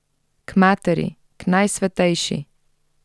K Materi, k Najsvetejši!